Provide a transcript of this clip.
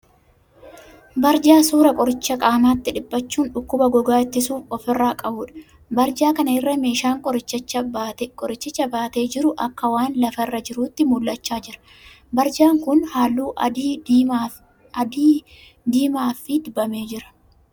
Barjaa suuraa qoricha qaamatti dhipachuun dhukkuba gogaa ittisu ofi irraa qabuudha. Barjaa kan irra meeshaan qorichicha baatee jiru akka waan lafa irra jiruutti mul'achaa jira. Barjaan kun halluu adii diimaa fi dibamee jira.